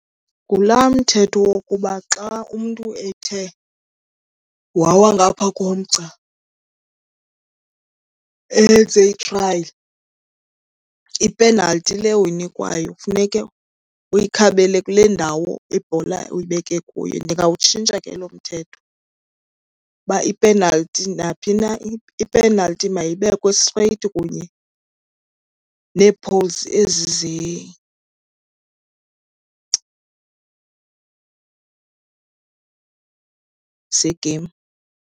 Ngulaa mthetho wokuba xa umntu ethe wawa ngapha komgca enze ithrayi, ipenalti le uyinikwayo funeke uyikhabele kule ndawo ibhola uyibeke kuyo. Ndingawutshintsha ke lo mthetho uba ipenalti naphi na, ipenalti mayibekwe streyiti kunye nee-poles ezi ze-game.